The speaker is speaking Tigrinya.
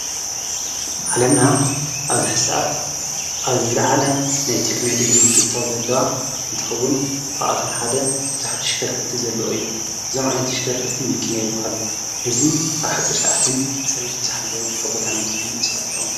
ሓለምና ኣብዝሕኣት ኣብ ዝለዓለ ናይ ቴክነሎጅ ምጽቕታው ዘለዋ እንተውን ካብኣቶም ሓደ ዉዙኃ ት ሽከርክርቲ ዘለኦ እዩ ዞምዓይንትሽከርክርቲ ምኪነ ይብሃሉ ሕዚ ኣብ ኃጺር ሰዓትን ጽሬት ብዝኃለወን ካብቦታና ቦታን ምእፅኣት ይጠምኑ።